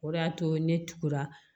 O de y'a to ne tugura